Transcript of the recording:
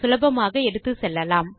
சுலபமாக எடுத்துச்செல்லலாம்